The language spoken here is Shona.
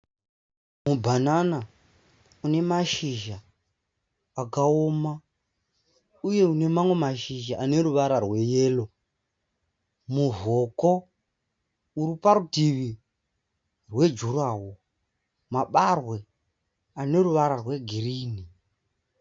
Mubhanana une mashizha akaoma uye une mamwe mashizha aneruvara rweyero. Muvhoko uriparutivi rwejurawo. Mabarwe ane ruvara rwegirinhi.